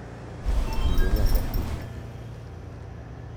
E kind oganda Koyugi, .